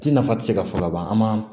Ti nafa ti se ka fɔ ka ban an ma